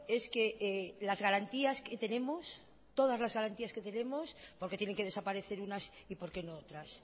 es que las garantías que tenemos todas las garantías que tenemos por qué tienen que desaparecer unas y por qué no otras